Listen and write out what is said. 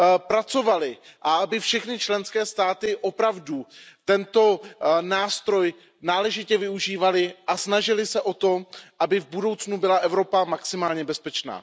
pracovali a aby všechny členské státy opravdu tento nástroj náležitě využívaly a snažily se o to, aby v budoucnu byla Evropa maximálně bezpečná.